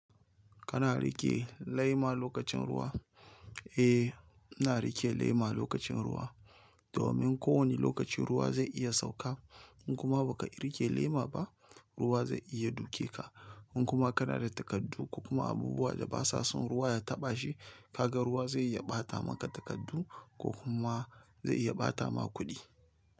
Kana riqe lema lokachin ruwa? Eh, ina riƙe lema lokacin ruwa. Domin ko wane lokacin ruwa zai iya sauka in kuma baka riƙe lema ba ruwa zai iya duke ka. In kuma kana da takardu ko kuma abubuwa da ba sa son ruwa ya taɓa shi, kaga ruwa zai iya ɓata maka takardu ko kuma zai iya ɓata maka kuɗi.